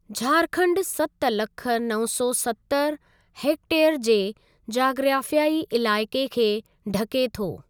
झारखण्ड सत लख नव सौ सतरि हैक्टेयर जे जाग्राफ़ियाई इलाइक़े खे ढके थो।